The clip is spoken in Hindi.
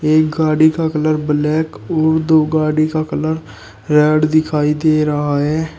एक गाड़ी का कलर ब्लैक और दो गाड़ी का कलर रेड दिखाई दे रहा है।